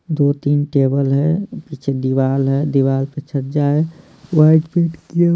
दो-तीन टेबल है पीछे दीवार है दीवार पे छज्जा है वाइट पेंट किया--